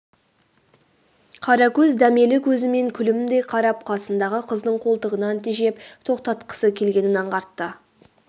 қаракөз дәмелі көзімен күлімдей қарап қасындағы қыздың қолтығынан тежеп тоқтатқысы келгенін аңғартты